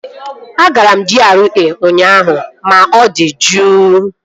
Agara m GRA ụnyaahụ ma ọ dị juu